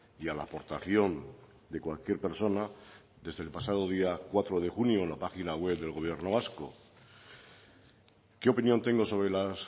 y a la aportación de cualquier persona desde el pasado día cuatro de junio en la página web del gobierno vasco qué opinión tengo sobre las